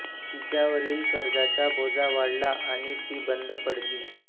तिच्यावरील कर्जाचा बोजा वाढला आणि ती बंद पडली